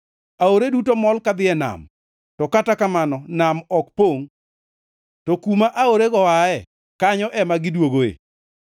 Aore duto mol kadhi ei nam, to kata kamano nam ok pongʼ. To kuma aorego oaye, kanyo ema gidwogoe.